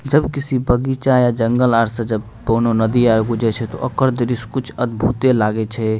जब किसी बगीचा या जंगल आर से जब कोनो नदी आर जब गुजरे छै ते ओकर दृश्य कुछ अद्भुते लागे छै।